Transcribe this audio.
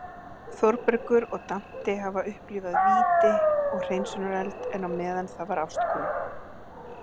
Þórbergur og Dante hafa upplifað víti og hreinsunareld, en á meðan það var ástkona